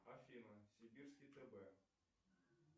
афина сибирский тб